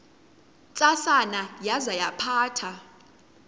ntsasana yaza yaphatha